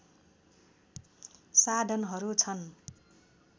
साधनहरू छन्